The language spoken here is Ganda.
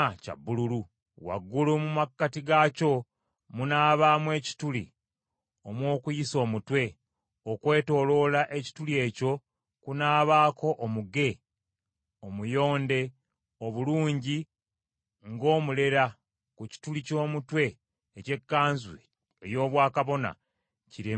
Waggulu mu makkati gaakyo munaabaamu ekituli omw’okuyisa omutwe; okwetooloola ekituli ekyo kunaabaako omuge omuyonde obulungi ng’omuleera ku kituli ky’omutwe eky’ekkanzu ey’obwakabona, kireme okuyulika.